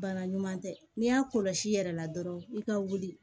Bana ɲuman tɛ n'i y'a kɔlɔsi i yɛrɛ la dɔrɔn i ka wuli